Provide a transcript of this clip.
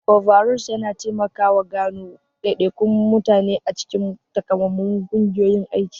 Overalls yana taimakawa gano daidaikun mutane a cikin takamaiman ƙungiyoyin aiki.